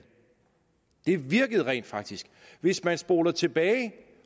det virkede rent faktisk hvis man spoler tilbage